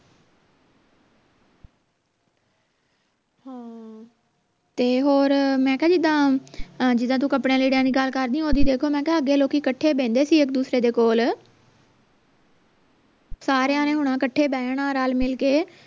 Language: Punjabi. ਤੇ ਹੋਰ ਮੈਂ ਕਿਹਾ ਜਿੱਦਾਂ ਜਿਦਾਂ ਤੂੰ ਕੱਪੜਿਆਂ ਲੀੜਿਆਂ ਦੀ ਗੱਲ ਕਰਦੀ ਘਰ ਦੇ ਲੋਕੀ ਕੱਠੇ ਬਹਿੰਦੇ ਸੀ ਇਕ ਦੂਸਰੇ ਦੇ ਕੋਲ ਸਾਰੀਆਂ ਨੇ ਹੋਣਾ ਕੱਠੇ ਬਹਿਣਾ ਰਲ ਮਿਲ ਕੇ